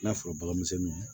N'a sɔrɔ bagan misɛnninw